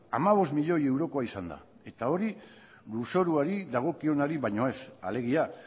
hamabost milioi eurokoa izan da eta hori lurzoruari dagokionari baino ez alegia